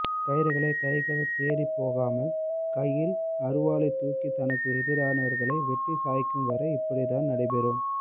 கயிறுகளை கைகள் தேடி போகாமல் கையில் அருவாளை தூக்கி தனக்கு எதிரனவர்களை வெட்டி சாய்க்கும் வரை இப்படித்தான் நடை பெறும்